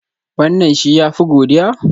Wannan shi ya fi godiya?